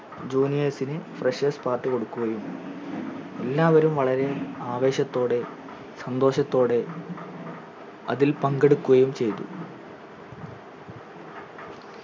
juniors ന് freshers party കൊടുക്കുകയും എല്ലാവരും വളരെ ആവേശത്തോടെ സന്തോഷത്തോടെ അതിൽ പങ്കെടുക്കുകയും ചെയ്‌തു